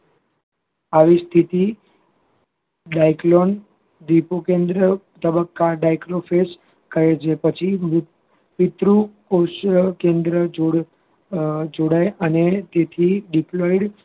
આવી સ્થિતિ diaclone દીપુ કેન્દ્ર તબક્કા diclofenac કહે છે પછી પીતૃકોષ કોષકેન્દ્ર જોડાય અને તેથી diploid